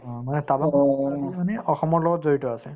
অ, মানে টাৱাঙৰ মানে অসমৰ লগত জড়িত আছে